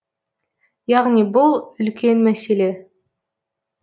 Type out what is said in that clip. яғни бұл үлкен мәселе